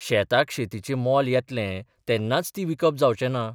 शेताक शेतीचें मोल येतलें तेन्नाच ती विकप जावचें ना.